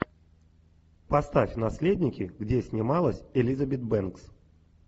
поставь наследники где снималась элизабет бэнкс